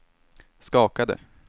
skakade